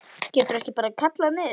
Geturðu ekki bara kallað niður?